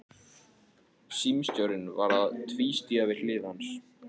Símstjórinn var að tvístíga við hlið hans.